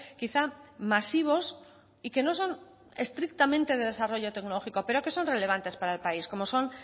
quizá masivos y que no son estrictamente de desarrollo tecnológico pero que son relevantes para el país como son